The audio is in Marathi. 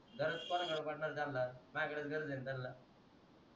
गरज कोना कडे बसणार आहे त्यांना माझ्या कडेच गरज आहेत त्यांना